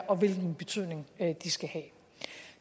og hvilken betydning de skal have